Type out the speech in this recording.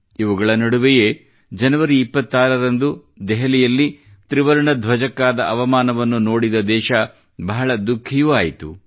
ಇವುಗಳ ನಡುವೆಯೇ ಜನವರಿ 26 ರಂದು ದೆಹಲಿಯಲ್ಲಿ ತ್ರಿವರ್ಣ ಧ್ವಜಕ್ಕಾದ ಅವಮಾನವನ್ನು ನೋಡಿದ ದೇಶ ಬಹಳ ದುಃಖಿಯೂ ಆಯಿತು